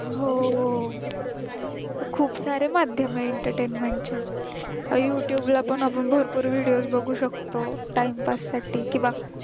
हो खूप सारे माध्यमयेत entertainment चे youtube ला पण आपण भरपूर videos बघू शकतो time pass साठी किंवा